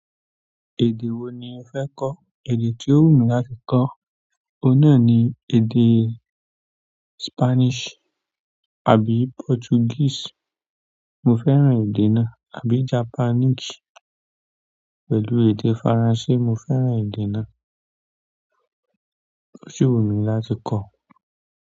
Èdè wo ni o fẹ́ kọ́? Èdè tí ó wù mí láti kọ́, oun náà ni èdè Spanish àbí Portuguese. Mo fẹ́ràn èdè náà, àbí Japanese pẹ̀lú èdè Faransé. Mo fẹ́ràn èdè náà ó si wù mí láti kọ́.